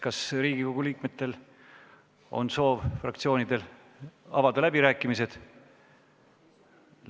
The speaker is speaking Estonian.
Kas Riigikogu liikmetel või fraktsioonidel on soovi avada läbirääkimisi?